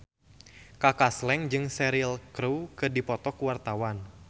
Kaka Slank jeung Cheryl Crow keur dipoto ku wartawan